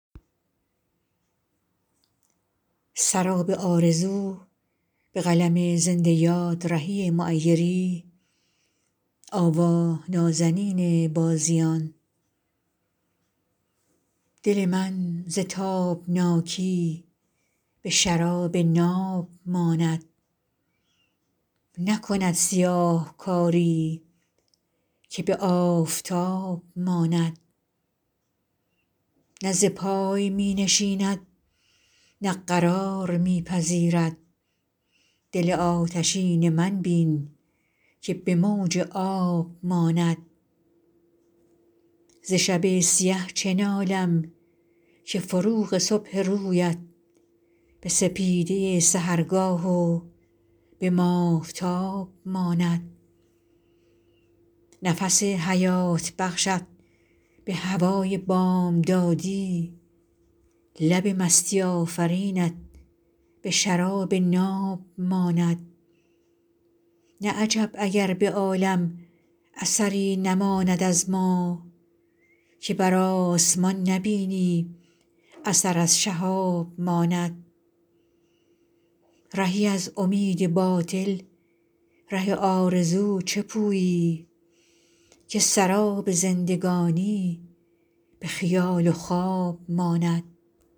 دل من ز تابناکی به شراب ناب ماند نکند سیاهکاری که به آفتاب ماند نه ز پای می نشیند نه قرار می پذیرد دل آتشین من بین که به موج آب ماند ز شب سیه چه نالم که فروغ صبح رویت به سپیده سحرگاه و به ماهتاب ماند نفس حیات بخشت به هوای بامدادی لب مستی آفرینت به شراب ناب ماند نه عجب اگر به عالم اثری نماند از ما که بر آسمان نبینی اثر از شهاب ماند رهی از امید باطل ره آرزو چه پویی که سراب زندگانی به خیال و خواب ماند